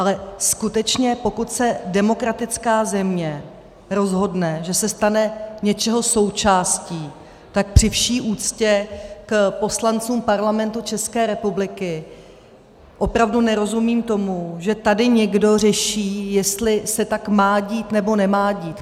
Ale skutečně, pokud se demokratická země rozhodne, že se stane něčeho součástí, tak při vší úctě k poslancům Parlamentu České republiky opravdu nerozumím tomu, že tady někdo řeší, jestli se tak má dít, nebo nemá dít.